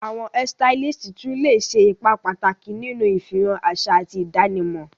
Awọn hairstylists tun le ṣe ipa pataki ninu ifihan aṣa ati idanimọ.